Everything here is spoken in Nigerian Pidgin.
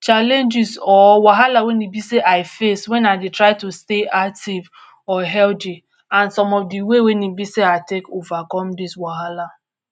challenges or wahala wey e be sey I face when I dey try to stay active or hearthy and some of de way when e be sey I take overcome dis wahala.